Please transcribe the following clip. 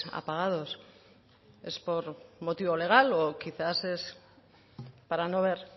apagados es por motivo legal o quizás es para no ver